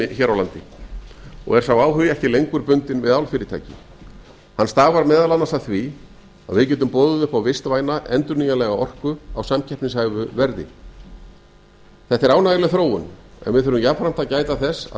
anda og er sá áhugi ekki lengur bundin við álfyrirtæki hann stafar meðal annars af því að við getum boðið upp á vistvæna endurnýjanlega orku á samkeppnishæfu verði þetta er ánægjuleg þróun en við þurfum jafnframt að gæta þess að